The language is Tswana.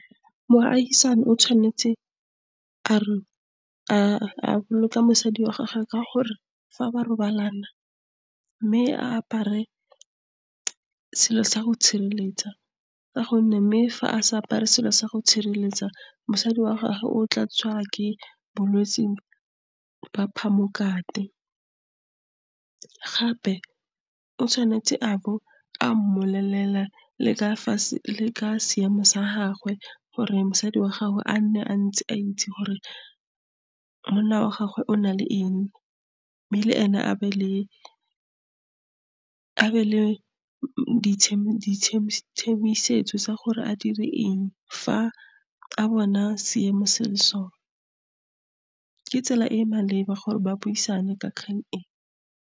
Moagisani o tshwanetse a re, a boloka mosadi wa gagwe ka gore, fa ba robalana mme a apare selo sa go itshireletsa, ka gonne mme fa a sa apare selo sa go itshireletsa mosadi wa gagwe o tla tshwara ke bolwetse ba phamokate. Gape o tshwanetse abo a mmolelele le ka fa ka seemo sa gagwe gore mosadi wa gagwe a nne, a ntse a itse gore monna wa gagwe o na le eng, mme le ene a be le tsa gore a dire eng fa a bona seemo se le sona. Ke tsela e e maleba gore ba buisane ka kgang e.